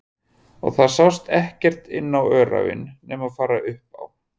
Og það sást ekkert inn á öræfin nema fara upp á